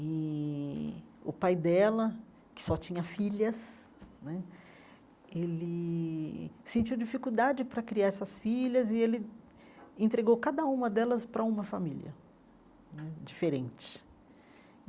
E o pai dela, que só tinha filhas né, ele sentiu dificuldade para criar essas filhas e ele entregou cada uma delas para uma família hum diferente.